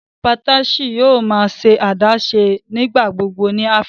Patriarchy yòò má ṣe adaṣe nigbagbogbo ní Áfíríkà.